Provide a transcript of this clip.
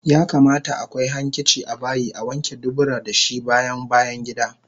Yakamata akwai hankici abayi Awanke dubura dashi bayan bayangida